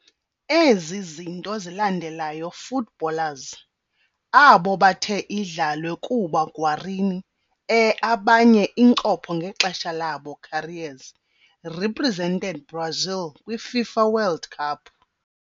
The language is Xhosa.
Ezi zinto zilandelayo footballers, abo bathe idlalwe kuba Guarani e abanye incopho ngexesha labo careers, represented Brazil kwi - FIFA World Cup.